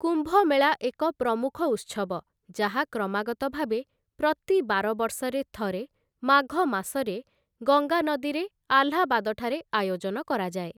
କୁମ୍ଭମେଳା ଏକ ପ୍ରମୁଖ ଉତ୍ସବ, ଯାହା କ୍ରମାଗତଭାବେ ପ୍ରତି ବାର ବର୍ଷରେ ଥରେ, ମାଘ ମାସରେ ଗଙ୍ଗା ନଦୀରେ, ଆହ୍ଲାବାଦଠାରେ ଆୟୋଜନ କରାଯାଏ ।